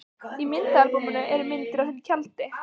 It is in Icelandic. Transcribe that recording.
Í myndaalbúminu eru myndir af þeim í tjaldi.